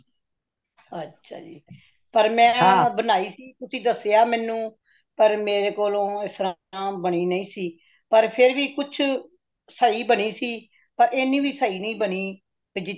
ਅੱਛਾ ਜੀ , ਪਾਰ ਮੈ ਬਨਾਈ ਸੀ ਤੁਸੀਂ ਦਸਿਆ ਮੇਨੂ , ਪਾਰ ਮੇਰੇ ਕੋਲੋਂ ਇਸਤਰਾਂ ਬਨੀ ਨਹੀਂ ਸੀ , ਪਾਰ ਫੇਰ ਵੀ ਕੁਛ ਸਹੀ ਬਨੀ ਸੀ ,ਪਾਰ ਏਨੀ ਵੀ ਸਹੀ ਨਾਈ ਬਾਨੀ , ਕੀ ਜਿਤਨੀ